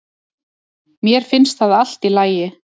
Mér finnst það allt í lagi